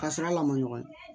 Ka sira lankolon ye